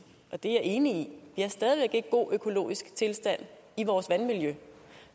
og det er jeg enig i vi har stadig væk ikke god økologisk tilstand i vores vandmiljø